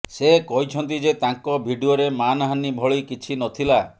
ସେ କହିଛନ୍ତି ଯେ ତାଙ୍କ ଭିଡିଓରେ ମାନହାନି ଭଳି କିଛି ନଥିଲା